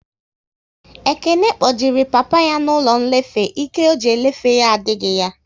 Ekene kpojere papa ya n'ụlọ nlefe, Ike ọ ji elefe ya adịghị ya